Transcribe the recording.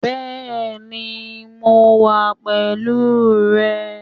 Bẹ́ẹ̀ni mo wà pẹ̀lú rè